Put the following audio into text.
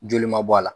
Joli ma bɔ a la